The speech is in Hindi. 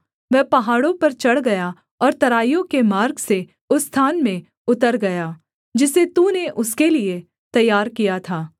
वह पहाड़ों पर चढ़ गया और तराइयों के मार्ग से उस स्थान में उतर गया जिसे तूने उसके लिये तैयार किया था